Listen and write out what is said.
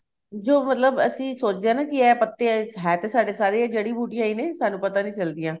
ਜੋ ਮਤਲਬ ਅਸੀਂ ਸੋਚਦੇ ਆ ਨਾ ਕੀ ਇਹ ਪਤੇ ਹੈ ਤਾਂ ਸਾਡੇ ਸਾਰੇ ਜੜੀ ਬੂਟੀਆਂ ਈ ਨੇ ਸਾਨੂੰ ਪਤਾ ਨੀਂ ਚੱਲਦੀਆਂ